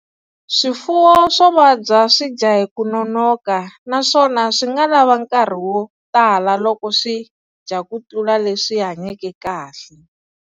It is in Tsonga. Swifuwo swo vabya swi dya hi ku nonoka naswona swi nga lava nkarhi wo tala loko swi dya ku tlula leswi hanyeke kahle.